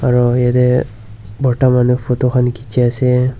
aru ete bortha manu photo khan kechi ase.